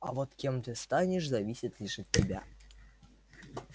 а вот кем ты станешь зависит лишь от тебя